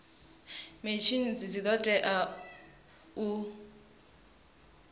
machines dzi do tea u